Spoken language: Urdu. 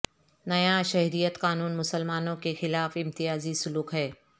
نیا شہریت قانون مسلمانوں کے خلاف امتیاز ی سلوک ہے